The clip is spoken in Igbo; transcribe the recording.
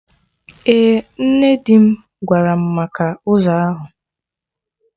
Ee, nne dim gwaram maka